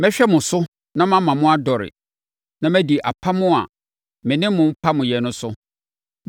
“ ‘Mɛhwɛ mo so na mama mo adɔre, na madi apam a me ne mo pameeɛ no so.